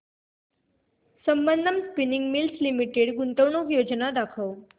Sambandam spinning mills limited गुंतवणूक योजना दाखव